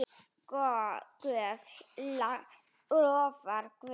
Ef Guð lofar.